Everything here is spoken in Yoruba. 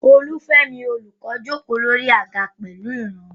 Olufemi, the teacher, comfortably sat on a chair.